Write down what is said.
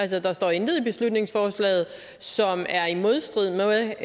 der står intet i beslutningsforslaget som er i modstrid med